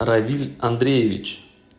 равиль андреевич